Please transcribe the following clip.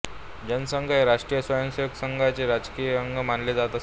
जनसंघ हे राष्ट्रीय स्वयंसेवक संघाचे राजकीय अंग मानले जात असे